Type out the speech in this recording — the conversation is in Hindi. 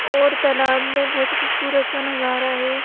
और तालाब में बहुत खूबसूरत सा नजारा है।